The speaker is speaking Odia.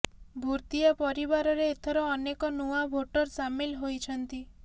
ଭୁର୍ତିଆ ପରିବାରରେ ଏଥର ଅନେକ ନୂଆ ଭୋଟର ସାମିଲ ହୋଇଛନ୍ତି